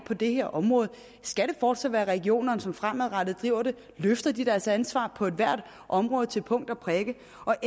på det her område skal det fortsat være regionerne som fremadrettet driver det løfter de deres ansvar på ethvert område til punkt og prikke